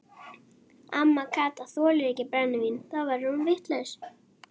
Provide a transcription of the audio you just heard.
Amma Kata þolir ekki brennivín, þá verður hún vitlaus.